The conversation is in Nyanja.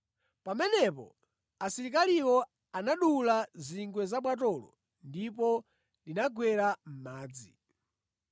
Pamenepo asilikaliwo anadula zingwe za bwatolo ndipo linagwera mʼmadzi.